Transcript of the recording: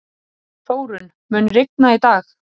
Þórunn, mun rigna í dag?